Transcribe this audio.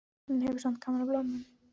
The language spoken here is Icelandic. En hún hefur samt gaman af blómunum.